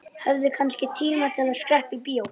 Hann saltaði vatnið og tíndi svo fiskana ofaní.